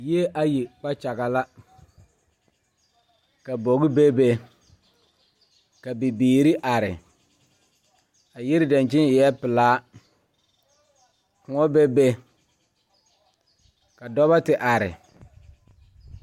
Yie ayi kpakyaga la ka bogi bebe ka bibiire are a yiri dankyini eɛɛ pelaa kõɔ bebe ka dɔbɔ ti are.